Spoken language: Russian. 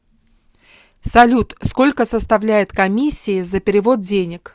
салют сколько составляет комиссии за перевод денег